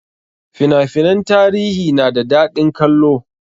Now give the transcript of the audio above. Fina finan tarihi na da daɗin kallo